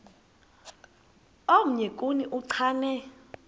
omnye kuni uchane